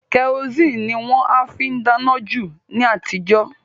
Kẹrosíìnì ni wọ́n á fi dáná jù ni àtijọ́